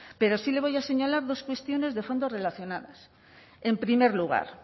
pero sí le voy a señalar dos cuestiones de fondo relacionados en primer lugar